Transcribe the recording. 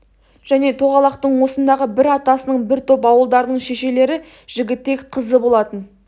және тоғалақтың осындағы бір атасының бір топ ауылдарының шешелері жігітек қызы болатын